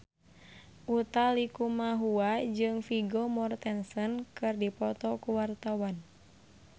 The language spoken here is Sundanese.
Utha Likumahua jeung Vigo Mortensen keur dipoto ku wartawan